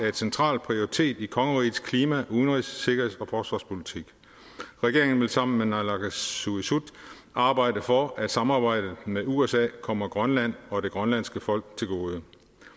en central prioritet i kongerigets klima udenrigs sikkerheds og forsvarspolitik regeringen vil sammen med naalakkersuisut arbejde for at samarbejdet med usa kommer grønland og det grønlandske folk til gode